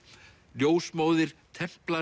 ljósmóðir